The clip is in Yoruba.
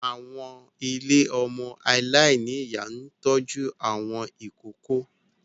Àwọn ilé ọmọ aláìní ìyá ń tọ́jú àwọn ìkóókó